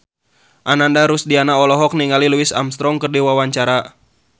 Ananda Rusdiana olohok ningali Louis Armstrong keur diwawancara